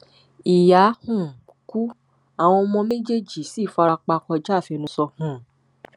ìyá um kú àwọn ọmọ méjèèjì sì fara pa kọjá àfẹnusọ um